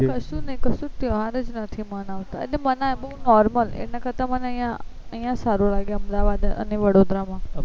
કશું નહી કશું નહી તેહવાર જ નથી માનવતા એટલે માનવે બહુ normal એના કરતા મને અહિયાં અહિયાં સારું લાગે અમદાવાદ અને વડોદરા માં